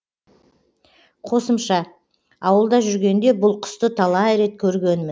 қосымша ауылда жүргенде бұл құсты талай рет көргенмін